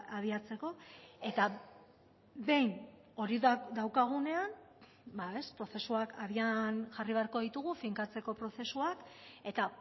abiatzeko eta behin hori daukagunean bada prozesuak abian jarri beharko ditugu finkatzeko prozesuak eta